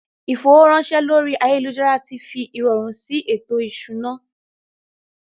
Ìfowóránṣẹ́ lórí ayélujára ti fi ìrọ̀rùn sí ètò ìṣúná